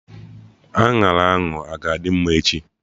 Añara ahụ a-ga adị mma echi?